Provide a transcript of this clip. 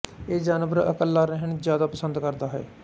ਇਹ ਜਾਨਵਰ ਇਕੱਲਾ ਰਹਿਣਾ ਜ਼ਿਆਦਾ ਪਸੰਦ ਕਰਦਾ ਹੈ